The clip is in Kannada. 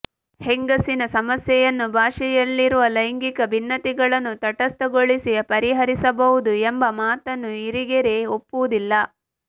ಹೆಂಗಸಿನ ಸಮಸ್ಯೆಯನ್ನು ಭಾಷೆಯಲ್ಲಿರುವ ಲೈಂಗಿಕ ಭಿನ್ನತೆಗಳನ್ನು ತಟಸ್ಥಗೊಳಿಸಿ ಪರಿಹರಿಸಬಹುದು ಎಂಬ ಮಾತನ್ನು ಇರಿಗೆರೆ ಒಪ್ಪುವುದಿಲ್ಲ